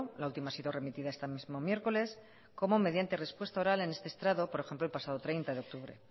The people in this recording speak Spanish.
la última ha sido remitida este mismo miércoles como mediante respuesta oral en este estrado por ejemplo el pasado treinta de octubre